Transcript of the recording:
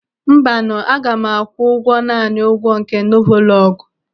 Mbanụ, aga m akwụ naanị ụgwọ nke novolọgu.